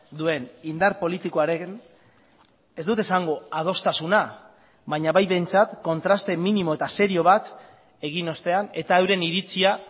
duen indar politikoaren ez dut esango adostasuna baina bai behintzat kontraste minimo eta serio bat egin ostean eta euren iritzia